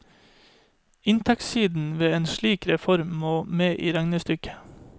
Inntektssiden ved en slik reform må med i regnestykket.